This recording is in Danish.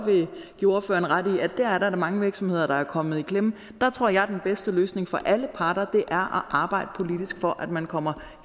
give ordføreren ret i at der er mange virksomheder der er kommet i klemme der tror jeg at den bedste løsning for alle parter er at arbejde politisk for at man kommer